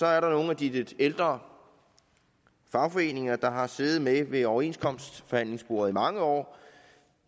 er der nogle af de lidt ældre fagforeninger der har siddet med ved overenskomstforhandlingsbordet i mange år